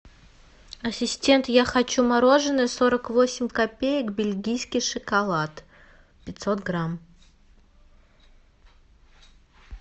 ассистент я хочу мороженое сорок восемь копеек бельгийский шоколад пятьсот грамм